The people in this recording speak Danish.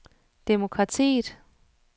demokratiet